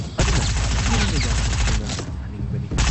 ꯑꯗꯨꯅ ꯌꯨꯝꯗ ꯌꯥꯝꯅ ꯊꯨꯅ ꯍꯟꯅꯤꯡꯕꯅꯤ ꯫